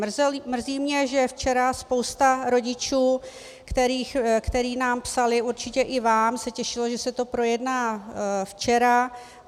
Mrzí mě, že včera spousta rodičů, kteří nám psali, určitě i vám, se těšilo, že se to projedná včera.